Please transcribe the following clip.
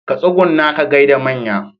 Ka tsugunna ka gaida manya.